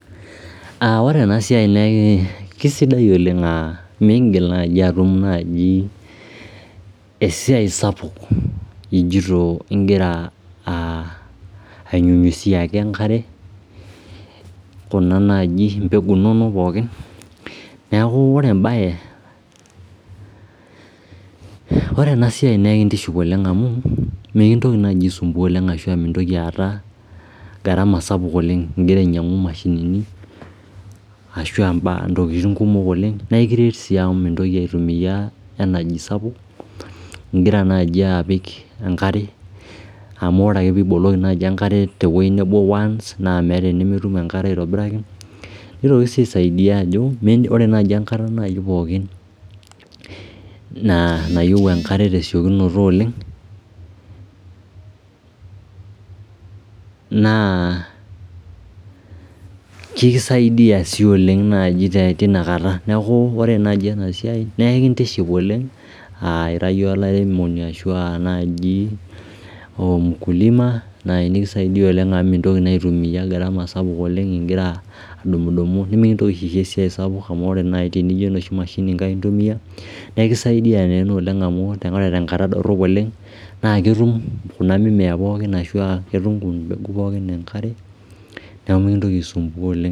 Ore ena siai naa kesidai oleng aa miigil naji atum esiai sapuk ijito igira ainyunyiziaki enkare kuna mbegu inonok pookin niakubore ena siai naa kintiship oleng amu mikintoki naai aisumbuan oleng ashu mintoki aata garama sapuk oleng' igira ainyangu imashinini ashu im'baa kumok oleng naa aikiret sii amu migira aitimia energy sapuk igira apiki enkare amu ore piiboloki enkare tewei nebo once naa metii enimitum enkare aitobiraki nitoki sii aisaidia amu ore enkata pookin nayieu tesiokinoto oleng' naa kisaidia sii oleng naji tina kata niaku ore naji ena siai naa kintiship oleng' aa Ira olairemoni ashu olmkulima naa sidai amu mintoki naa aitumia garama sapuk oleng igira adumudumu nimikintoki aisho esiai sapuk amu ore nai tenijo enoshi mashini kai intumia nekisaidia naa ena oleng amu tenkata dorhop oleng naa ketum kuna imimea pookin enkare